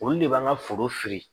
Olu de b'an ka foro fili